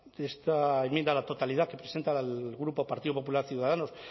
de esta enmienda a la totalidad que presenta el grupo partido popular ciudadanos